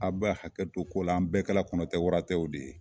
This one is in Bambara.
Aw ba hakɛto ko la, an bɛɛ kɛla kɔnɔ tɛ wara tɛw de ye.